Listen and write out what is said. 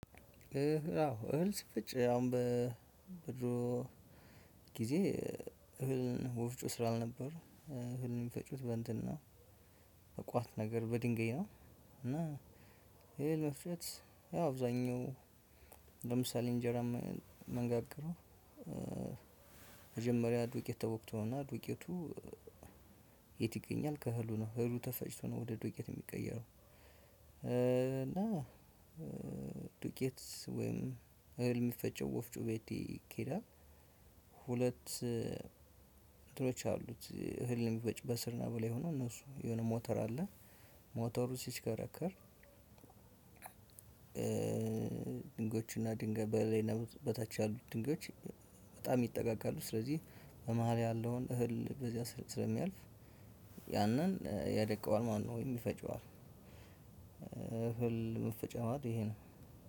አዎ እህል ሲፈጭ አሁን በ በድሮ ጊዜ እህል ወፍጮ ስላልነበር እ እህል የሚፈጩት በእንትን ነው በቋት ነገር በድንጋይ ነው። እና እህል መፍጨት ያው አብዛኛው ለምሳሌ እንጀራ ምንጋግረው። እ መጀመሪያ ዱቄት ተቦክቶ ነው። እና ዱቄቱ የት ይገኛል? ከእህሉ ነው እህሉ ተፈጭቶ ነው ወደ ዱቄት የሚቀየረው። እ እና እ ዱቄት ወይም እህል የሚፈጨው ወፍጮ ቤት ይኬዳል። ሁለት እንትኖች አሉት እህል የሚፈጭ በስር ላይ ሆኖ እነሱ የሆነ ሞተር አለ። ሞተሩ ሲሽከረከር እ ድንጋዮችና ድንጋይ በላይና በታች ያሉት ድንጋዮች በጣም ይጠጋጋሉ ስለዚህ በመሃል ያለውን እህል በዚያ ስለሚያልፍ ያንን እ ያደቀዋል ማለት ነው። ወይም ይፈጨዋል። እህል መፈጫ ማለት ይሄ ነው።